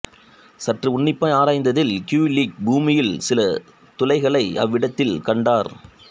சற்று உண்ணிப்பாய் ஆராய்ந்ததில் கியுலிக் பூமியில் சில துளைகளை அவ்விடத்தில் கண்டார்